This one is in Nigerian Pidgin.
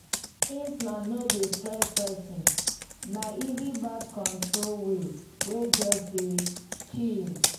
implant no dey stress person — na easy birth control way wey just dey chill.